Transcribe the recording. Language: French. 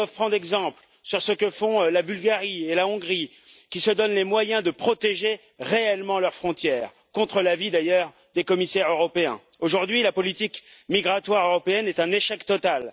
Elles doivent prendre exemple sur ce que font la Bulgarie et la Hongrie, qui se donnent les moyens de protéger réellement leurs frontières, contre l'avis, d'ailleurs, des commissaires européens. Aujourd'hui, la politique migratoire européenne est un échec total.